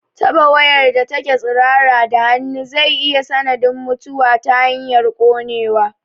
Taɓa wayar da take tsirara da hannu zai iya sanadin mutuwa ta hanyar ƙonewa